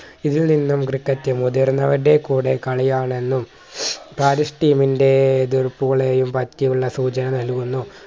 ഇതിൽ നിന്നും ക്രിക്കറ്റ് മുതിർന്നവരുടെ കൂടെ കളിയാണെന്നും പാരീസ് team ന്റെ എതിർപ്പുകളെയും പറ്റിയുള്ള സൂചന നൽകുന്നു